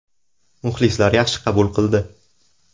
Muxlislar yaxshi qabul qildi.